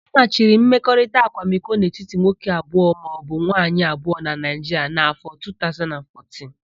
A machiri mmekọrita akwamiko n'etiti nwoke abụọ maọbụ nwaayị abụọ na Naịjiria n'áfọ̀ 2014.